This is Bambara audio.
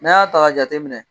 N'an y'a ta k'a jate minɛ